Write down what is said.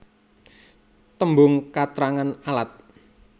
Tembung katrangan alat